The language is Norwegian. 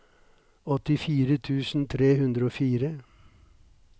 åttifire tusen tre hundre og fire